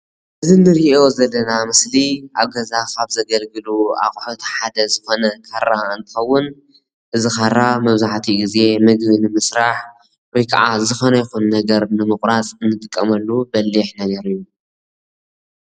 እዚ ንሪኦ ዘለና ምስሊ ኣብ ገዛ ካብ ዘገልግሎ ኣቑሑት ሓደ ዝኮነ ካራ እንትኸዉን እዚ ኻራ መብዛሕቲኡ ግዜ ምግቢ ንምስራሕ ወይ ክዓ ዝኾነ ይኹን ነገር ንምቑራፅ እንጥቀመሉ በሊሕ ነገር እዩ፡፡